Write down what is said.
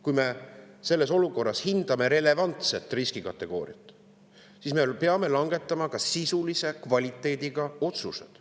Kui me selles olukorras hindame relevantset riskikategooriat, siis me peame langetama ka sisulise kvaliteediga otsused.